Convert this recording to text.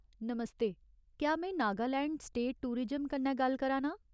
नमस्ते ! क्या में Nagaland state tourism कन्नै गल्ल करा नां ?